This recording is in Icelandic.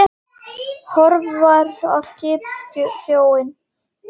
Horfir á skipin og sjóinn.